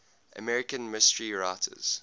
american mystery writers